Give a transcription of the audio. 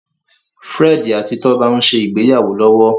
Fred àti Toba n'se ìgbéyàwó lówó.